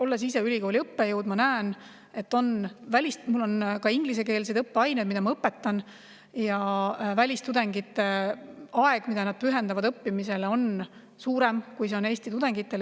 Olles ise ülikooli õppejõud, ma näen – mul on ka ingliskeelseid õppeaineid, mida ma õpetan –, et aeg, mille välistudengid pühendavad õppimisele, on suurem, kui see on Eesti tudengitel.